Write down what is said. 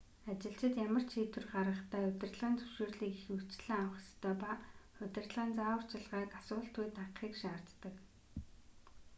ажилчид ямар ч шийдвэр гаргахдаа удирдлагын зөвшөөрлийг ихэвчлэн авах ёстой ба удирдлагын зааварчилгааг асуултгүй дагахыг шаарддаг